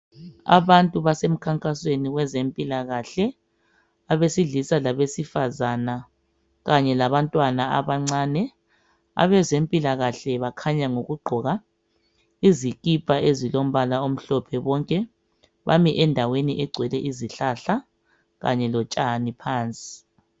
Abantu basemkhankasweni wezempilakahle abesilisa labesifazana kanye labantwana abancane abezempilakahle bakhanya ngokugqoka izikipa ezilombala omhlophe bonke bami endaweni egcwele izihlahla kanye lotshani phansi.